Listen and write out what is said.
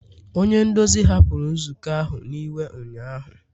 onye nduzi hapụrụ nzukọ ahụ n'iwe ụnyahụ